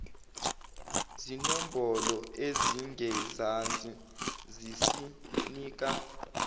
zinombolo ezingezansi zisinika